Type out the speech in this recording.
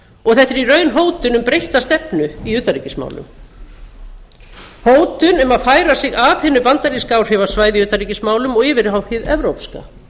og þetta er í raun hótun um breytta stefnu í utanríkismálum hótun um að færa sig af hinu bandaríska áhrifasvæði í utanríkismálum og yfir á hið